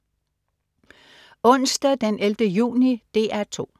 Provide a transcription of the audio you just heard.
Onsdag den 11. juni - DR 2: